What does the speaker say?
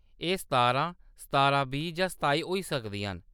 एह्‌‌ सतारां, सतारां बीह् जां सताई होई सकदियां न।